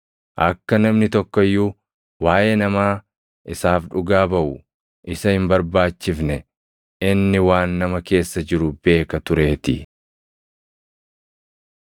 Akka namni tokko iyyuu waaʼee namaa isaaf dhugaa baʼu isa hin barbaachifne; inni waan nama keessa jiru beeka tureetii.